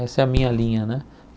Essa é a minha linha, né?